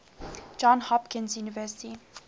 johns hopkins university